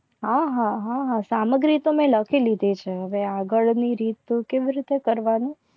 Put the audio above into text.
આહાહાહા સામગ્રી તો મેં લખી લીધી છે. હવે આગળ ની રીત તો કેવી રીતે કરવાનું